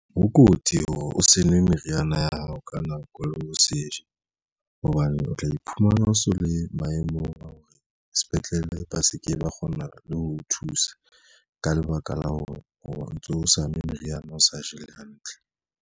Ho kotsi hore o se nwe meriana ya hao ka nako le ho se je hobane o tla iphumana o so le maemong a hore sepetlele ba se ke ba kgona le ho thusa ka lebaka la hore ha o ntso o sa nwe meriana o sa je hantle.